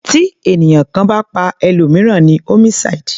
Tí ènìyàn kan bá pa ẹlòmìíràn ni homicide.